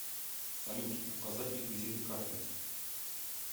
салют указать реквизиты карты